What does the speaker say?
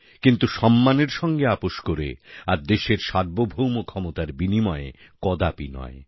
কিন্তু সম্মানের সঙ্গে আপোস করে আর দেশের সার্বভৌম ক্ষমতার বিনিময়ে কদাপি নয়